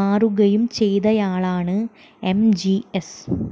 മാറുകയും ചെയ്തയാളാണ് എംജിഎസ്